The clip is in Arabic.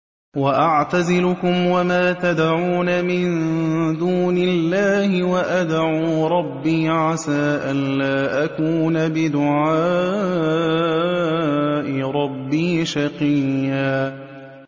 وَأَعْتَزِلُكُمْ وَمَا تَدْعُونَ مِن دُونِ اللَّهِ وَأَدْعُو رَبِّي عَسَىٰ أَلَّا أَكُونَ بِدُعَاءِ رَبِّي شَقِيًّا